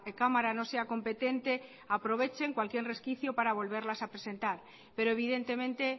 cámara no sea competente aprovechen cualquier resquicio para volverlas a presentar pero evidentemente